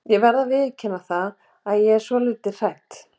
Ég verð að viðurkenna það að ég er svolítið hrædd.